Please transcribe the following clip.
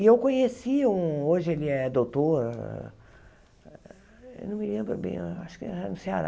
E eu conheci um, hoje ele é doutor, não me lembro bem, acho que era no Ceará,